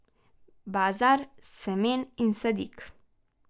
Bazar semen in sadik.